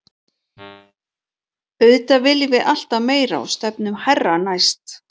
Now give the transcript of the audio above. Auðvitað viljum við alltaf meira og stefnum hærra næst.